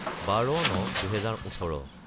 12-09-2018